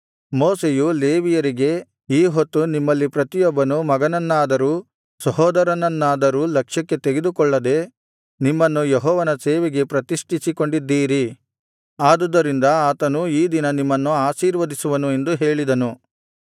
ಮೋಶೆಯು ಲೇವಿಯರಿಗೆ ಈ ಹೊತ್ತು ನಿಮ್ಮಲ್ಲಿ ಪ್ರತಿಯೊಬ್ಬನು ಮಗನನ್ನಾದರೂ ಸಹೋದರರನ್ನಾದರೂ ಲಕ್ಷ್ಯಕ್ಕೆ ತೆಗೆದುಕೊಳ್ಳದೇ ನಿಮ್ಮನ್ನು ಯೆಹೋವನ ಸೇವೆಗೆ ಪ್ರತಿಷ್ಠಿಸಿಕೊಂಡಿದ್ದೀರಿ ಆದುದರಿಂದ ಆತನು ಈ ದಿನ ನಿಮ್ಮನ್ನು ಆಶೀರ್ವದಿಸುವನು ಎಂದು ಹೇಳಿದನು